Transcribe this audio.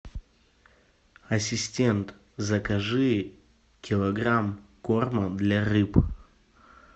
ассистент закажи килограмм корма для рыб